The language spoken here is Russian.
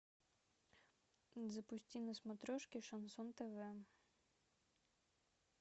запусти на смотрешке шансон тв